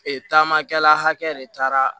Ee taamakɛla hakɛ de taara